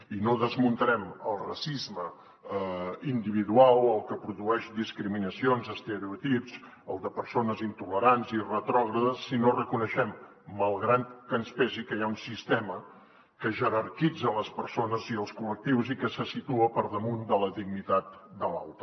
i no desmuntarem el racisme individual el que produeix discriminacions estereotips el de persones intolerants i retrògrades si no reconeixem malgrat que ens pesi que hi ha un sistema que jerarquitza les persones i els col·lectius i que se situa per damunt de la dignitat de l’altre